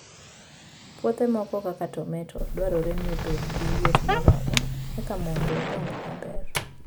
Puothe moko kaka tomato, dwarore ni obed gi liet moromo eka mondo odongi maber.